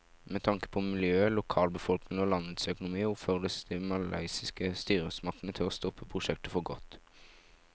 Med tanke på miljøet, lokalbefolkningen og landets økonomi oppfordres de malaysiske styresmaktene til å stoppe prosjektet for godt.